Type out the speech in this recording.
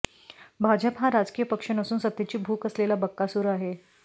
भाजप हा राजकीय पक्ष नसून सत्तेची भूक असलेला बकासूर आहे